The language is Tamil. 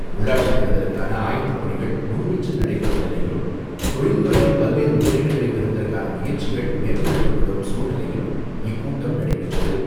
உள்ளாட்சித் தேர்தலுக்கான ஆயத்தப் பணிகள் முழுவீச்சில் நடைபெறும் நிலையிலும், தொழில்துறையில் பல்வேறு முதலீடுகளை பெறுவதற்கான முயற்சிகள் மேற்கொள்ளப்பட்டுவரும் சூழ்நிலையிலும் இக்கூட்டம் நடைபெற்றது.